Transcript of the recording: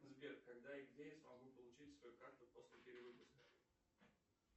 сбер когда и где я смогу получить свою карту после перевыпуска